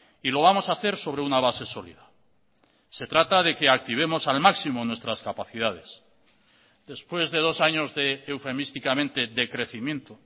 y lo vamos a hacer sobre una base sólida se trata de que activemos al máximo nuestras capacidades después de dos años de eufemísticamente decrecimiento